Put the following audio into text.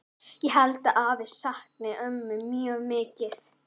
Ég held að afi sakni ömmu mjög mikið.